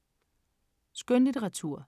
Skønlitteratur